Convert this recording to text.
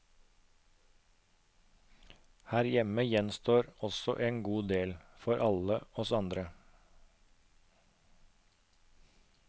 Her hjemme gjenstår også en god del, for alle oss andre.